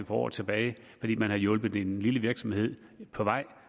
for år tilbage fordi man havde hjulpet en lille virksomhed på vej